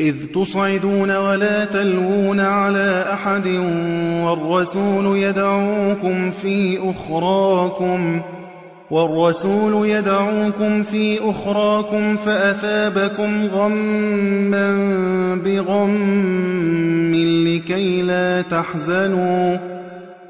۞ إِذْ تُصْعِدُونَ وَلَا تَلْوُونَ عَلَىٰ أَحَدٍ وَالرَّسُولُ يَدْعُوكُمْ فِي أُخْرَاكُمْ فَأَثَابَكُمْ غَمًّا بِغَمٍّ